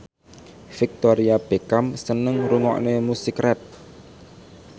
Victoria Beckham seneng ngrungokne musik rap